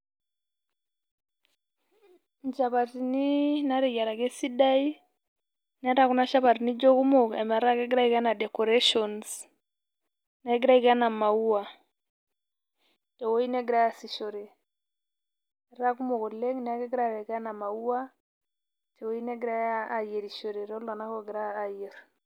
Inchapatini nateyiaraki esidai, netaa kuna shapatini kekumok ometaa kegira aiko enaa decorations ,negira aiko enaa maua ,tewoi negirai aasishore. Etaa kumok oleng',neeku kegirai aiko enaa maua ,tewoi negirai ayierishore, toltung'anak ogira aayier.